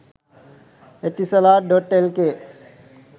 etisalat.lk